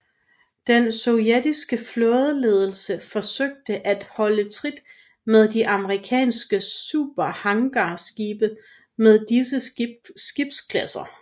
Den sovjetiske flådeledelse forsøgte at holde trit med de amerikanske superhangarskibe med disse skibsklasser